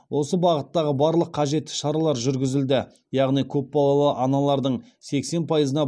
осы бағыттағы барлық қажетті шаралар жүргізілді яғни көпбалалы аналардың сексен пайызына